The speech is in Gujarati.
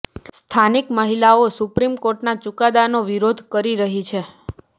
સ્થાનિક મહિલાઓ સુપ્રીમ કોર્ટના ચુકાદાનો વિરોધ કરી રહી છે